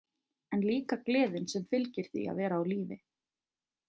En líka gleðin sem fylgir því að vera á lífi.